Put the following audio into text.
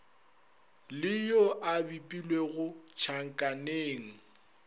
le yo a bipilwego tšhakaneng